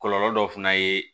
Kɔlɔlɔ dɔ fana ye